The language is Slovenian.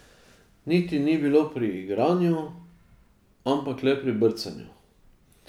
Niti ni bilo pri igranju, ampak le pri brcanju.